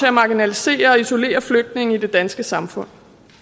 at marginalisere og isolere flygtninge i det danske samfund